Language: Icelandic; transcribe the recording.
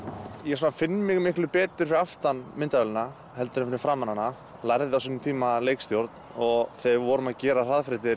ég finn mig miklu betur fyrir aftan myndavélina en fyrir framan hana lærði á sínum tíma leikstjórn og þegar við vorum að gera